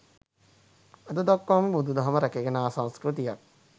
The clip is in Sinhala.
අද දක්වා බුදුදහම රැකගෙන ආ සංස්කෘතිය යක්